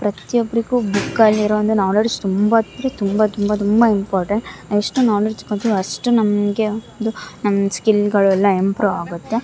ಪ್ರತಿಯೊಬ್ಬರಿಗೂ ಬುಕ್ಕಲ್ಲಿರೋ ನಾಲೆಜ್ ತುಂಬಾ ಅಂದ್ರೆ ತುಂಬಾನೇ ತುಂಬ ತುಂಬ ಇಂಪಾರ್ಟೆಂಟ್ ಎಷ್ಟು ನಾಲೆಜ್ ಬರುತ್ತಾ ಅಷ್ಟು ನಮಗೆ ಒಂದು ಸ್ಕಿಲ್ ಗಳೆಲ್ಲ ಇಂಪ್ರೂ ಆಗುತ್ತೆ.